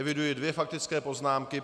Eviduji dvě faktické poznámky.